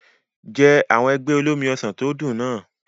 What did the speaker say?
Jẹ àwọn ẹ̀gbẹ́ olómi ọsàn tó dùn náà.